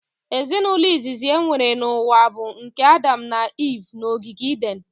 Ezinaụlọ izizi enwere n'ụwa bụ nke Adam na Iv n'ogige Iden